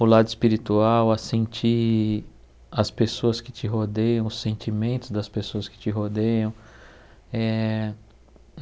o lado espiritual, a sentir as pessoas que te rodeiam, os sentimentos das pessoas que te rodeiam. Eh